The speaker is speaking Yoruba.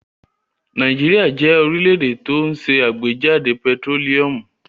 Nàìjíríà jẹ́ orílẹ̀-èdè tó ṣe àgbéjáde pẹtírólíúmù.